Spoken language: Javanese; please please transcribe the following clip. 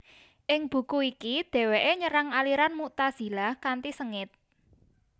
Ing buku iki dheweke nyerang aliran Mu tazilah kanthi sengit